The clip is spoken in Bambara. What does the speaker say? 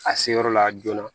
A se yɔrɔ la joona